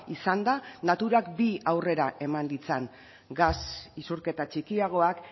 izan da naturak bi aurrera eman ditzan gas isurketa txikiagoak